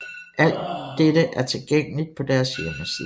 Alt dette er tilgængeligt på deres hjemmeside